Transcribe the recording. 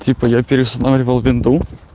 типа я переустанавливал винду